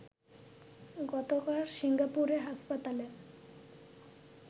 গতকাল সিঙ্গাপুরের হাসপাতালে